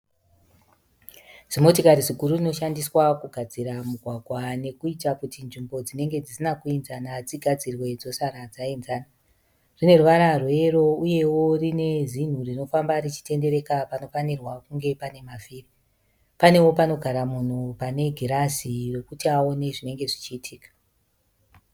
Zimotokari ziguru rinoshandiswa kugadzira mugwagwa nekuita kuti nzvimbo dzinenge dzisina kuinzana dzisare dzagadzikana. Rineruvara rweyero uyewo rine zinhu rinotenderera panofanirwa kunge panemavhiri. Panewo panogara munhu pane girazi rokuti awone zvinenge zvichiitika.